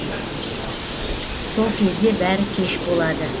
сол кезде бәрі кеш болады